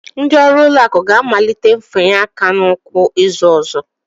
Ndị ọrụ ụlọakụ ga-amalite mfanye aka n'ụkwụ izu ọzọ